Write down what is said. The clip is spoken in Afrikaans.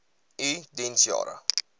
u diens jare